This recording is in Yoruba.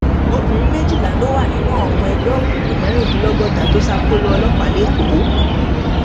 obìnrin méjìlá ló wà nínú àwọn ọmọ ẹgbẹ òkùnkùn mẹrìndínlọgọta tó ṣàkólò ọlọpàá lẹkọọ